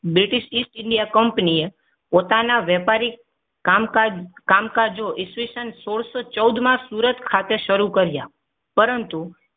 British state india company એ પોતાના વેપારી કામકાજ કામકાજો ઈસવીસન સોળસો ચૌદ મા સુરત ખાતે શરૂ કર્યા. પરંતુ